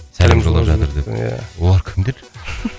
сәлем жолдап жатыр дедің ия олар кімдер